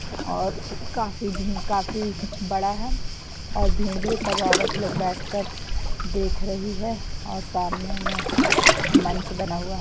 और काफी भी काफी बड़ा है और भीड़ भी सब औरत लोग बैठकर देख रही है और सामने में मंच बना हुआ है ।